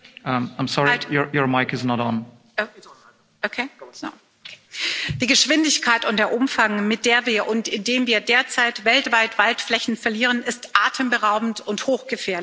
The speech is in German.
Herr Präsident! Die Geschwindigkeit und der Umfang, mit der wir und in dem wir derzeit weltweit Waldflächen verlieren, sind atemberaubend und hochgefährlich.